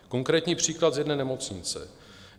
Konkrétní příklad z jedné nemocnice.